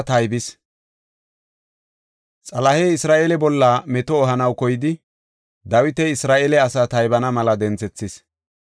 Xalehey Isra7eele bolla meto ehanaw koyidi, Dawiti Isra7eele asaa taybana mela denthethis.